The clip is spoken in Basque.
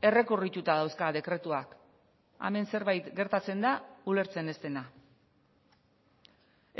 errekurrituta dauzka dekretuak hemen zerbait gertatzen da ulertzen ez dena